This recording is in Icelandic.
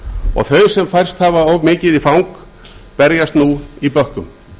og þau sem færst hafa of mikið í fang berjast nú í bökkum